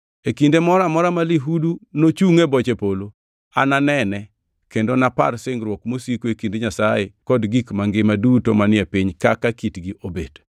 E kinde moro amora ma lihudu nochungʼ e boche polo, ananene kendo napar singruok mosiko e kind Nyasaye kod gik mangima duto manie piny kaka kitgi obet.”